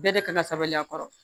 Bɛɛ de kan ka sabali a kɔrɔ